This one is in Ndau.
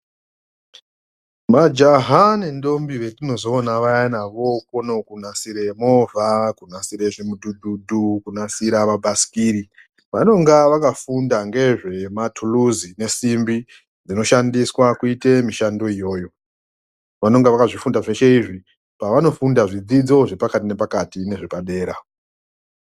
Majaha nendombi vetinozoona vayani vokona kunasire movha, kunasire zvimudhudhudhu, kunasire mabhasikiri vanenge vakafunda ngezvematuluzi nesimbi dzinoshandiswa kuita mishando iyoyo. Vanonga vakazvifunda zveshe izvi pavanofunda zvidzidzo zvepakati nepakati nezvepadera.